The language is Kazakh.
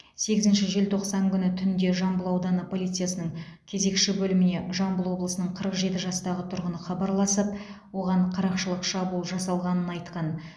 сегізінші желтоқсан күні түнде жамбыл ауданы полициясының кезекші бөліміне жамбыл облысының қырық жеті жастағы тұрғыны хабарласып оған қарақшылық шабуыл жасалғанын айтқан